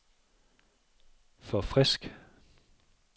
forfrisk